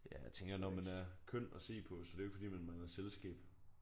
Ja jeg tænker når man er køn at se på så er det jo ikke fordi man mangler selskab